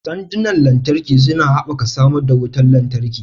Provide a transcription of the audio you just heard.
Sandunan lantarki suna haɓaka samar da wutar lantarki.